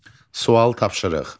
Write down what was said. Sual tapşırıq.